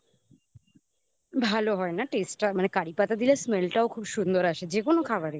ভালো হয় না taste টা মানে কারি পাতা দিলে smell টাও খুব সুন্দর আসে যে কোন খাবারই